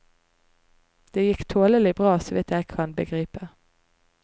Det gikk tålelig bra, så vidt jeg kan begripe.